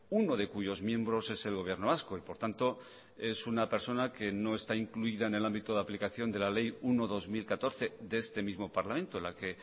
uno de cuyos miembros es el gobierno vasco y por tanto es una persona que no está incluida en el ámbito de aplicación de la ley uno barra dos mil catorce de este mismo parlamento la que